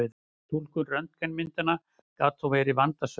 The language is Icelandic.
Túlkun röntgenmyndanna gat þó verið vandasöm.